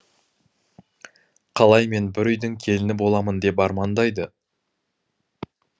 қалай мен бір үйдің келіні боламын деп армандайды